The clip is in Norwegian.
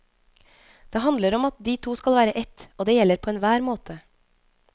Det handler om at de to skal være ett, og det gjelder på enhver måte.